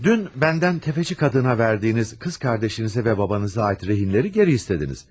Dünn bəndən təfəccür adına verdiyiniz qız qardaşınızı və babanıza aid rehinləri geri istədiniz.